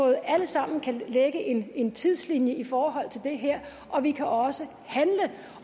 alle sammen lægge en en tidslinje i forhold til det her og vi kan også handle